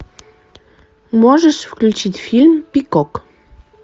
можешь включить фильм пикок